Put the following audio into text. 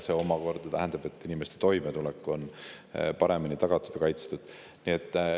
See omakorda tähendab, et inimeste toimetulek on paremini tagatud ja kaitstud.